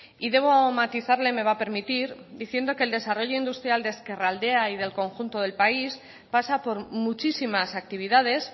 y debo matizarle me va a permitir diciendo que el desarrollo industrial de ezkerraldea y del conjunto del país pasa por muchísimas actividades